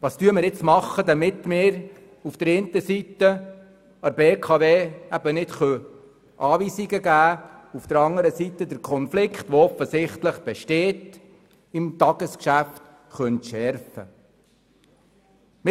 Was tun wir jetzt, damit wir auf der einen Seite der BKW keine Anweisungen geben, auf der anderen Seite aber den offensichtlich im Tagesgeschäft bestehenden Konflikt entschärfen können?